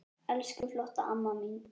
Elsku flotta amma mín.